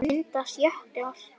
Hvernig myndast jöklar?